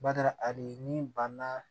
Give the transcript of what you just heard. Bada abe ni banna